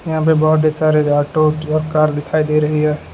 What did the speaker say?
यहां पे बोहोत ही सारे ऑटो ट्रक कार दिखाई दे रही है।